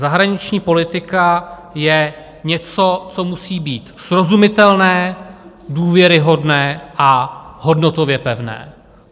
Zahraniční politika je něco, co musí být srozumitelné, důvěryhodné a hodnotově pevné.